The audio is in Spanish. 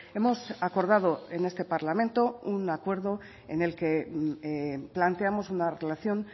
hemos acordado en este parlamento un acuerdo en el que planteamos una relación